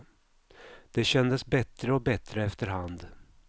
Det kändes bättre och bättre efter hand.